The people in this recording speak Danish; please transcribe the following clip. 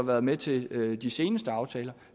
været med til de seneste aftaler